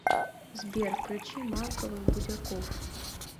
сбер включи малковых будяков